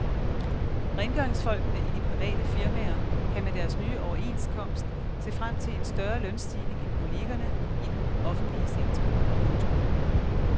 Rengøringsfolkene i de private firmaer kan med deres nye overenskomst se frem til en større lønstigning end kollegerne i den offentlige sektor. punktum